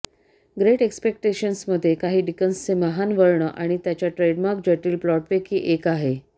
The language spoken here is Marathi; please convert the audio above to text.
ग्रेट एक्सपेक्टेक्शन्समध्ये काही डिकन्सचे महान वर्ण आणि त्याच्या ट्रेडमार्क जटिल प्लॉटपैकी एक आहे